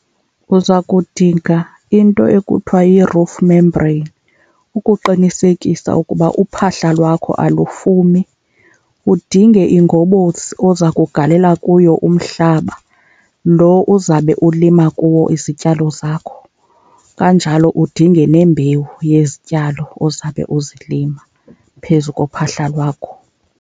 Uzakudinga into ekuthiwa yi-roof membrane ukuqinisekisa ukuba uphahla lwakho alufumi. Udinge ingobosi oza kugalela kuyo umhlaba lo uzabe ulima kuwo izityalo zakho, kanjalo udinge nembewu yezityalo ozabe ukuzilima phezu kophahla lwakho.